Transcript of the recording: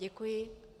Děkuji.